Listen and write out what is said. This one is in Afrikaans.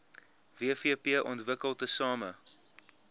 wvp ontwikkel tesame